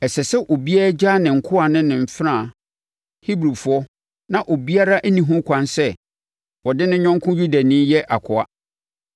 Ɛsɛ sɛ obiara gyaa ne nkoa ne mfenaa Hebrifoɔ; na obiara nni ho ɛkwan sɛ ɔde ne yɔnko Yudani yɛ akoa.